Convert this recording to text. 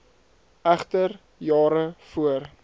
egter jare voor